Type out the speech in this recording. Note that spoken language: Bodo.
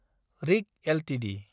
रिक एलटिडि